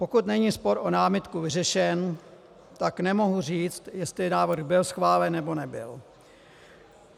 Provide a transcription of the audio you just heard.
Pokud není spor o námitku vyřešen, tak nemohu říct, jestli návrh byl schválen nebo nebyl.